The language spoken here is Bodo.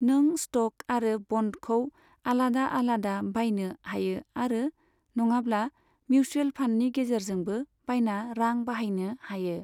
नों स्ट'क आरो ब'न्डखौ आलादा आलादा बायनो हायो आरो नङाब्ला मिउचुवेल फान्डनि गेजेरजोंबो बायना रां बाहायनो हायो।